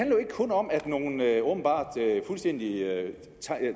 jo ikke kun om at nogle åbenbart fuldstændig